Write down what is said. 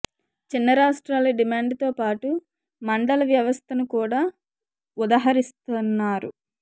చిన్న రాష్ట్రాల డిమాండ్ తోపాటు మండల వ్యవస్థను కూడా ఉదహరిస్తున్నారు